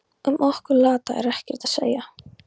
Um okkur lata er ekkert að segja.